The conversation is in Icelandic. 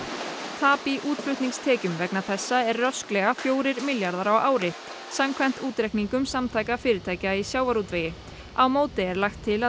tap í útflutningstekjum vegna þessa er rösklega fjórir milljarðar á ári samkvæmt útreikningum Samtaka fyrirtækja í sjávarútvegi á móti er lagt til að